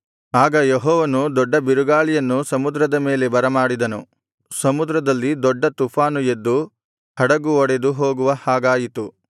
ಆಗ ಯೆಹೋವನು ದೊಡ್ಡ ಬಿರುಗಾಳಿಯನ್ನು ಸಮುದ್ರದ ಮೇಲೆ ಬರಮಾಡಿದನು ಸಮುದ್ರದಲ್ಲಿ ದೊಡ್ಡ ತುಫಾನು ಎದ್ದು ಹಡಗು ಒಡೆದುಹೋಗುವ ಹಾಗಾಯಿತು